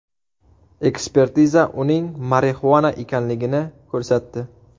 Ekspertiza uning marixuana ekanligini ko‘rsatdi.